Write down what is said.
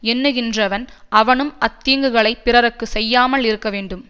எண்ணுகின்றவன் அவனும் அத்தீங்குகளைப் பிறருக்கு செய்யாமல் இருக்க வேண்டும்